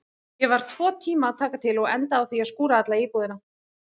Ég var tvo tíma að taka til og endaði á því að skúra alla íbúðina.